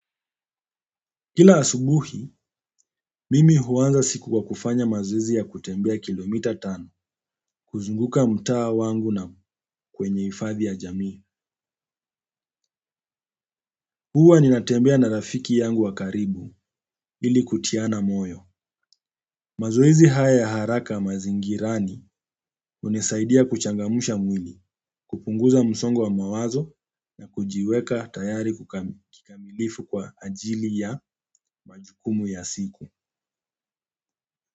Kila asubuhi, mimi huanza siku kwa kufanya mazoezi ya kutembea kilomita tano, kuzunguka mtaa wangu na kwenye hifadhi ya jamii. Huwa ninatembea na rafiki yangu wa karibu ili kutiana moyo. Mazoezi hayaya haraka mazingirani hunisaidia kuchangamsha mwili kupunguza msongo wa mawazo na kujiweka tayari kikamilifu kwa ajili ya majukumu ya siku.